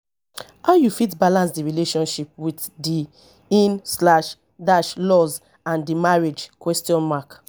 how you fit balance di relationship with di in slash dash laws and di marriage question mark